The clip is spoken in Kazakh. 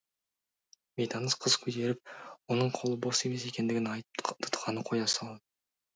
бейтаныс қыз көтеріп оның қолы бос емес екендігін айтып тұтқаны қоя салды